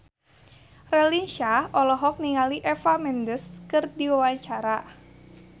Raline Shah olohok ningali Eva Mendes keur diwawancara